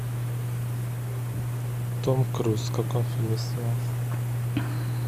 том круз в каком фильме снимался